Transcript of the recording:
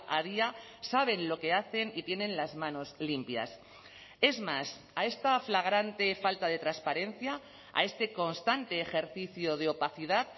a día saben lo que hacen y tienen las manos limpias es más a esta flagrante falta de transparencia a este constante ejercicio de opacidad